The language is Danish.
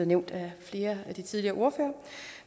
nævnt af flere af de tidligere ordførere